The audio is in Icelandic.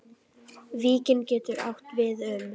Víkin getur átt við um